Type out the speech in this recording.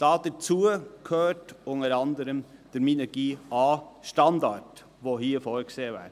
Dazu gehört unter anderem der Minergie-AStandard, der hier vorgesehen ist.